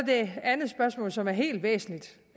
det andet spørgsmål som er helt væsentligt